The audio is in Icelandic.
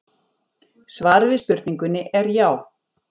Svarið við spurningunni er já.